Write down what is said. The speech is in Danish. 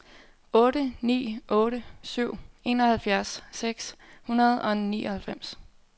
otte ni otte syv enoghalvfjerds seks hundrede og nioghalvfems